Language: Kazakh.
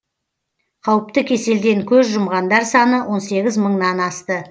қауіпті кеселден көз жұмғандар саны он сегіз мыңнан асты